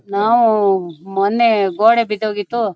ನಾವು ಮೊನ್ನೆ ಗೋಡೆ ಬಿದ್ ಹೋಗಿತ್ತು.